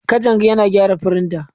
Kajang yana gyara firinta.